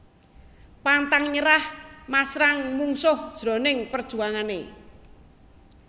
Pantang nyerah masrang mungsuh jroning perjuangané